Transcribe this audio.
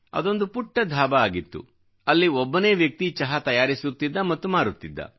ಅದೊಂದು ಪುಟ್ಟ ಧಾಬಾ ಆಗಿತ್ತು ಮತ್ತು ಅಲ್ಲಿ ಒಬ್ಬನೇ ವ್ಯಕ್ತಿ ಚಹಾ ತಯಾರಿಸುತ್ತಿದ್ದ ಮತ್ತು ಮಾರುತ್ತಿದ್ದ